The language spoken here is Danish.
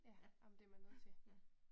Ja, ej men det man nødt til